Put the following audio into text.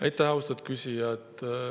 Aitäh, austatud küsija!